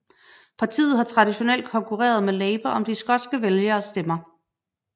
Partiet har traditionelt konkurreret med Labour om de skotske vælgeres stemmer